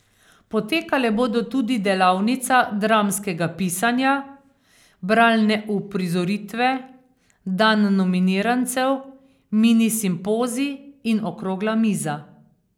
Potekale bodo tudi delavnica dramskega pisanja, bralne uprizoritve, dan nominirancev, mini simpozij in okrogla miza.